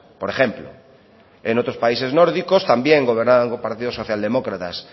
por ejemplo en otros países nórdicos también gobernaban partidos socialdemócratas